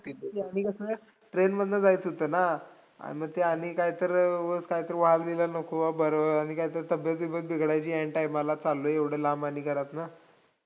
अन कसंय, train मधनं जायचं होतं नां, आणि मग ते आणि काय तर उगच काय तर वाजलेलं नको बरं, आणि काय ते तब्बेत-बिब्बेत बिघडायची ऐन time ला, चाल्लोय एवढं लांब अन घरातनं.